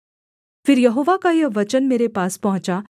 फिर यहोवा का यह वचन मेरे पास पहुँचा